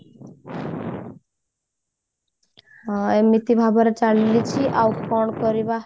ଏମିତି ଭାବରେ ଚାଲିଛି ଆଉ କଣ କରିବା